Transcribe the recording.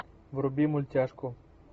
вруби мультяшку